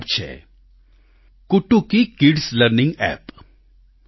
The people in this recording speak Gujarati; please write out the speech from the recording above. તેમાં એક એપ છે કુટુકી કિડ્સ લર્નિંગ એપ